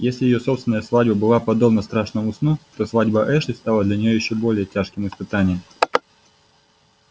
если её собственная свадьба была подобна страшному сну то свадьба эшли стала для неё ещё более тяжким испытанием